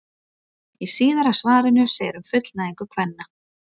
Í síðara svarinu segir um fullnægingu kvenna: